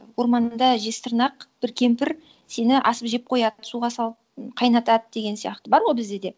орманда жезтырнақ бір кемпір сені асып жеп қояды суға салып қайнатады деген сияқты бар ғой бізде де